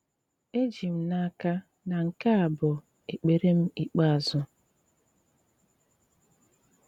Èjì m n'aka na nke à bụ ekpèrè m ikpeàzụ.